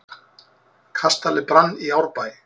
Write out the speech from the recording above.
Kastali brann í Árbæ